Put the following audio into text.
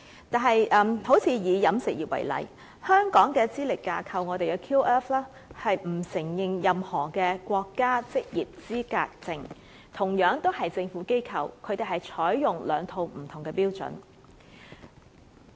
以飲食業為例，香港的資歷架構並不承認任何的國家職業資格證，同樣是政府機構，卻採用兩套不同的標準。